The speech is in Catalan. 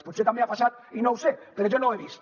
potser també ha passat i no ho sé però jo no ho he vist